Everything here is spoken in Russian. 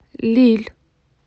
лилль